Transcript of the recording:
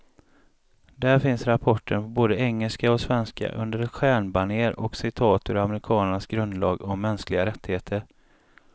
Där finns rapporten på både engelska och svenska, under ett stjärnbanér och citat ur amerikanernas grundlag om mänskliga rättigheter.